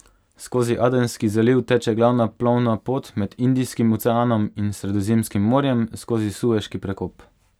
Skozi Adenski zaliv teče glavna plovna pot med Indijskim oceanom in Sredozemskim morjem skozi Sueški prekop.